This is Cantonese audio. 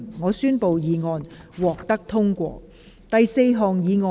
我宣布議案獲得通過。